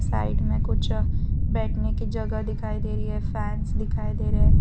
Side में कुछ बैठने की जगह दिखाई दे रही है फैंस दिखाई दे रहे हैं।